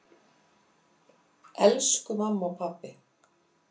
Elsku mamma og pabbi.